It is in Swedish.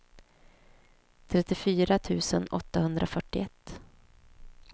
trettiofyra tusen åttahundrafyrtioett